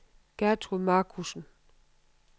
Gertrud Marcussen